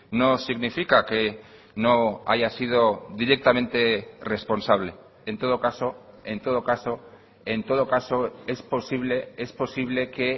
no significa que no haya sido directamente responsable en todo caso en todo caso en todo caso es posible es posible que